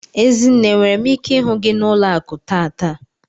Ezinne enwere m ike ihu gi na ụlọaku tata?